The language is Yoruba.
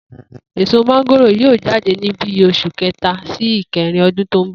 Èso mángòrò yóò jáde ní bí os̩ù è̩ké̩ta sí e̩ké̩rin o̩dún tó ń bò̩